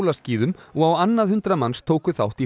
hjólaskíðum og á annað hundrað manns tóku þátt í